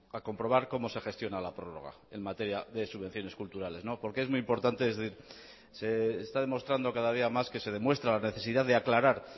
a comprobar cómo se gestiona la prórroga en materia de subvenciones culturales porque es muy importante se está demostrando cada día más que se demuestra la necesidad de aclarar